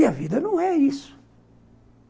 E a vida não é isso.